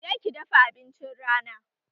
Je ki dafa abincin rana!